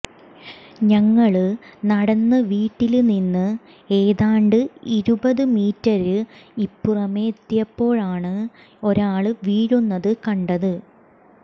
ഞങ്ങള് നടന്ന് വീട്ടില് നിന്ന് ഏതാണ്ട് ഇരുപത് മീറ്റര് ഇപ്പുറമെത്തിയപ്പോഴാണ് ഒരാള് വീഴുന്നത് കണ്ടത്